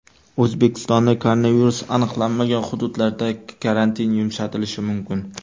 O‘zbekistonning koronavirus aniqlanmagan hududlarida karantin yumshatilishi mumkin.